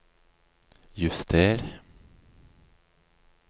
juster